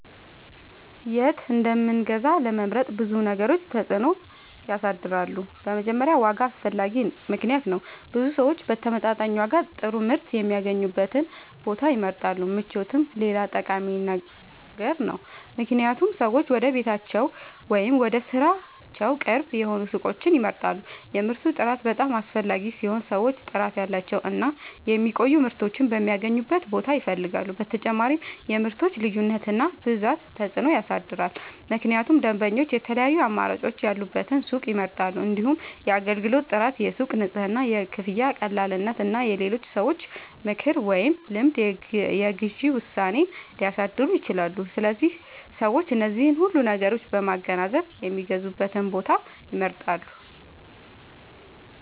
የት እንደምንገዛ ለመምረጥ ብዙ ነገሮች ተጽዕኖ ያሳድራሉ። በመጀመሪያ ዋጋ አስፈላጊ ምክንያት ነው፤ ብዙ ሰዎች በተመጣጣኝ ዋጋ ጥሩ ምርት የሚያገኙበትን ቦታ ይመርጣሉ። ምቾትም ሌላ ጠቃሚ ነገር ነው፣ ምክንያቱም ሰዎች ወደ ቤታቸው ወይም ወደ ሥራቸው ቅርብ የሆኑ ሱቆችን ይመርጣሉ። የምርቱ ጥራት በጣም አስፈላጊ ሲሆን ሰዎች ጥራት ያላቸውን እና የሚቆዩ ምርቶችን የሚያገኙበትን ቦታ ይፈልጋሉ። በተጨማሪም የምርቶች ልዩነት እና ብዛት ተጽዕኖ ያሳድራል፣ ምክንያቱም ደንበኞች የተለያዩ አማራጮች ያሉበትን ሱቅ ይመርጣሉ። እንዲሁም የአገልግሎት ጥራት፣ የሱቁ ንጽህና፣ የክፍያ ቀላልነት እና የሌሎች ሰዎች ምክር ወይም ልምድ የግዢ ውሳኔን ሊያሳድሩ ይችላሉ። ስለዚህ ሰዎች እነዚህን ሁሉ ነገሮች በማገናዘብ የሚገዙበትን ቦታ ይመርጣሉ።